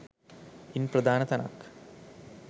ඉන් ප්‍රධාන තැනක්